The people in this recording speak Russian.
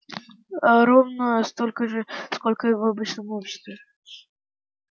ээ ровно столько же сколько и в обычном обществе